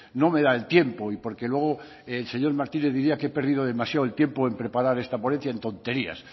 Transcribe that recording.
no me da el tiempo y porque luego el señor martínez diría que he perdido demasiado el tiempo en preparar esta ponencia en tonterías